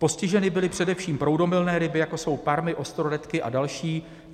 Postiženy byly především proudomilné ryby, jako jsou parmy, ostroretky a další.